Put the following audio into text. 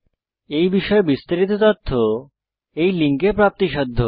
এই বিষয়ে বিস্তারিত তথ্য এই লিঙ্কে প্রাপ্তিসাধ্য